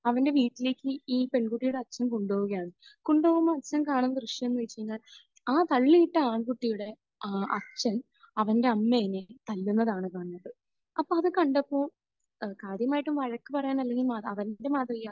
അവന്റെ വീട്ടിലേക്ക് ഈ പെൺകുട്ടിയുടെ അച്ഛൻ കൊണ്ടുപോവുകയാണ്. കൊണ്ടുപോകുമ്പോൾ അച്ഛൻ കാണുന്ന ദൃശ്യം എന്ന് വെച്ച് കഴിഞ്ഞാൽ ആ തള്ളിയിട്ട ആൺകുട്ടിയുടെ അഹ് അച്ഛൻ അവന്റെ അമ്മയെ തല്ലുന്നതാണ് കാണുന്നത്. അപ്പോൾ അത് കണ്ടപ്പോൾ ഏഹ് കാര്യമായിട്ടും വഴക്ക് പറയാൻ അല്ലെങ്കിൽ അവന് മാതൃകയാവാൻ